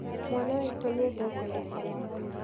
Mwana witũ nĩ endete gũkoma mũno.